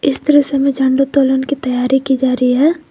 इस दृश्य में झंडा की तैयारी की जा रही है।